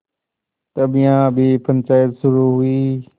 तब यहाँ भी पंचायत शुरू हुई